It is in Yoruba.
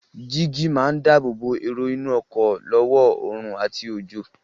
Jígí máa dáábòbò èrò inú ọkọ̀ lọ́wọ́ oòrùn àti òjò.